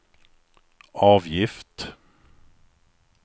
avgift